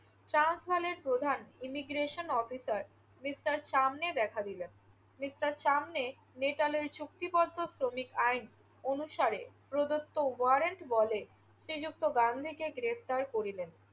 প্রধান imigration officer mister Chamney দেখা দিলেন। মিস্টার শামনে নেটালের চুক্তিপত্র শ্রমিক আইন অনুসারে প্রদত্ত ওয়ারেন্ট বলে শ্রীযুক্ত গান্ধীকে গ্রেফতার করিলেন।